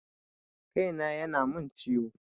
Kai na ya na mun ciwo